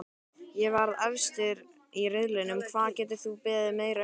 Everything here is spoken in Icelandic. Að vera efstir í riðlinum, hvað geturðu beðið meira um?